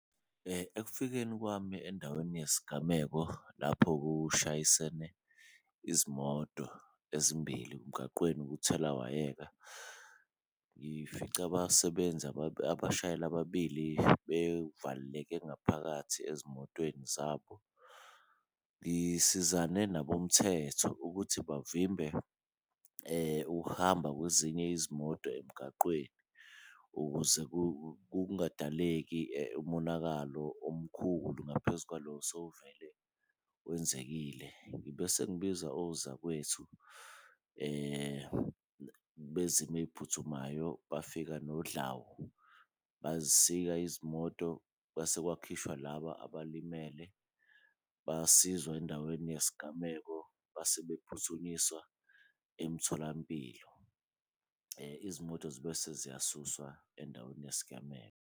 Ekufikeni kwami endaweni yesigameko lapho kushayisene izimoto ezimbili emgaqweni kuthelawayeka, ngifice abasebenzi abashayeli ababili bevaleleke ngaphakathi ezimotweni zabo. Ngisizane nabomthetho ukuthi bavimbe ukuhamba kwezinye izimoto emgaqweni ukuze kungadaleki umonakalo omkhulu ngaphezu kwalo osowuvele wenzekile. Ngibe sengibiza ozakwethu bezimo eyiphuthumayo bafika nodlawu bazisika izimoto. Kwase kwakhishwa laba abalimele basizwa endaweni yesigameko base bephuthunyiswa emtholampilo, izimoto zibe seziyasuswa endaweni yesigameko.